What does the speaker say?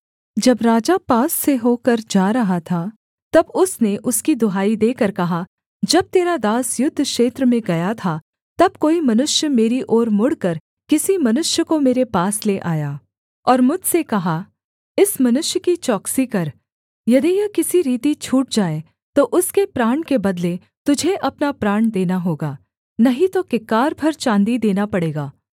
जब राजा पास होकर जा रहा था तब उसने उसकी दुहाई देकर कहा जब तेरा दास युद्ध क्षेत्र में गया था तब कोई मनुष्य मेरी ओर मुड़कर किसी मनुष्य को मेरे पास ले आया और मुझसे कहा इस मनुष्य की चौकसी कर यदि यह किसी रीति छूट जाए तो उसके प्राण के बदले तुझे अपना प्राण देना होगा नहीं तो किक्कार भर चाँदी देना पड़ेगा